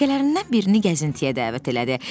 Rəfiqələrindən birini gəzintiyə dəvət elədi.